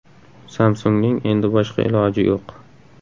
Samsung‘ning endi boshqa iloji yo‘q.